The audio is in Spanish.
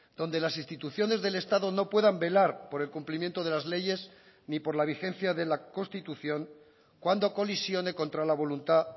donde las instituciones del estado no puedan velar por el cumplimiento de las leyes ni por la vigencia de la constitución cuando colisione contra la voluntad